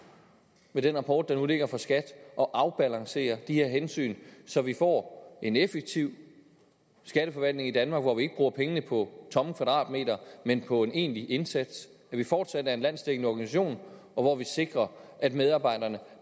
med den rapport der nu ligger fra skat at afbalancere de her hensyn så vi får en effektiv skatteforvaltning i danmark hvor vi ikke bruger pengene på tomme kvadratmeter men på en egentlig indsats at vi fortsat er en landsdækkende organisation og hvor vi sikrer at medarbejderne